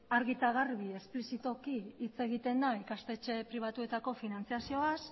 argi eta garbi esplizituki hitz egiten da ikastetxe pribatuetako finantzazioaz